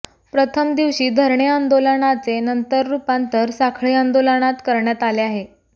प्रथम दिवशी धरणे आंदोलनाचे नंतर रूपांतर साखळी आंदोलनात करण्यात आले आहे